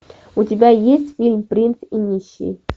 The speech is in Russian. у тебя есть фильм принц и нищий